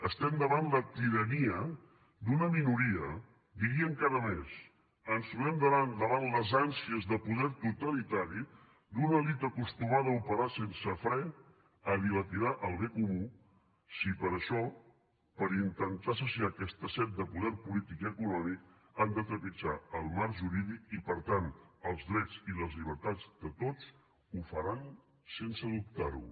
estem davant la tirania d’una minoria diria encara més ens trobem davant les ànsies de poder totalitari d’una elit acostumada a operar sense fre a dilapidar el bé comú si per això per intentar saciar aquesta set de poder polític i econòmic han de trepitjar el marc jurídic i per tant els drets i les llibertats de tots ho faran sense dubtar ho